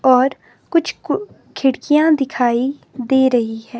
और कुछ कु खिड़कियां दिखाई दे रही हैं।